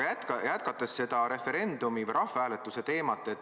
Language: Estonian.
Jätkan seda referendumi või rahvahääletuse teemat.